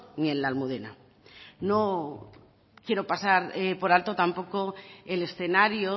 ni en la almudena no quiero pasar por alto tampoco el escenario